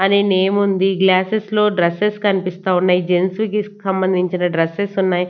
అని నేమ్ ఉంది గ్లాసెస్ లో డ్రెస్సెస్ కనిపిస్తా ఉన్నాయి జెంట్స్ కి సంబంధించిన డ్రెస్సెస్ ఉన్నాయి.